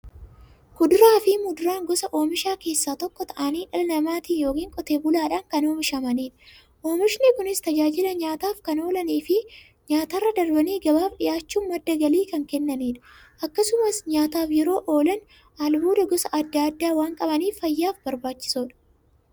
Kuduraafi muduraan gosa oomishaa keessaa tokko ta'anii, dhala namaatin yookiin qotee bulaadhan kan oomishamaniidha. Oomishni Kunis, tajaajila nyaataf kan oolaniifi nyaatarra darbanii gabaaf dhiyaachuun madda galii kan kennaniidha. Akkasumas nyaataf yeroo oolan, albuuda gosa adda addaa waan qabaniif, fayyaaf barbaachisoodha.